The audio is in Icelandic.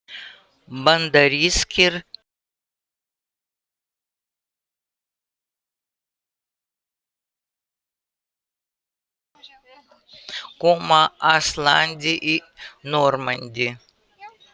Bandarískir hermenn koma að landi í Normandí.